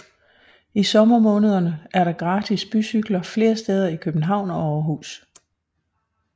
I sommermånederne er der gratis bycykler flere steder i København og Aarhus